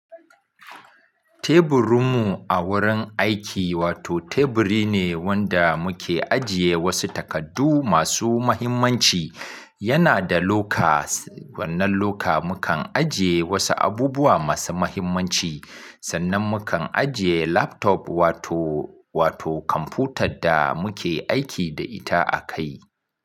Teburinmu a wurin aiki wato teburi ne wanda muke ajiye wasu takardu masu mahimmanci. Yana da lokas, wannan loka mukan ajiye wasu abubuwa masu mahimmanci, sannan mukan ajiye laptop wato, wato kamfutad da muke aiki da ita a kai.